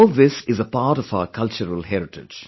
All this is a part of our cultural heritage